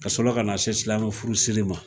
Ka sɔrɔ ka na se silamɛmɛ furu siri ma